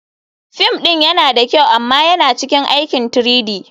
Fim ɗin yana da kyau amma yana cikin aikin 3-D.